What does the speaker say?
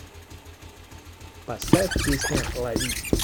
поставь песня лови